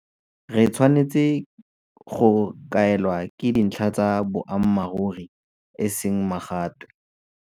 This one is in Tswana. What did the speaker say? Re tshwanetse go kaelwa ke dintlha tsa boammaruri e seng magatwe.